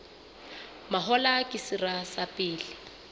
mahola ke sera sa pele